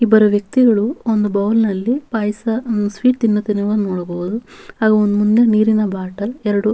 ಇಬ್ಬರು ವ್ಯಕ್ತಿಗಳು ಒಂದು ಬೌಲ್ನಲ್ಲಿ ಪಾಯಸ ಹ್ಮ್ ಸ್ವೀಟ್ ತಿನ್ನುತ್ತಿರುವುದನ್ನು ನೋಡಬಹುದು ಅವರ ಮುಂದೆ ನೀರಿನ ಬಾಟಲ್ ಎರಡು--